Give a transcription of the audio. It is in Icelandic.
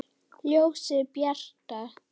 Ljósið bjarta!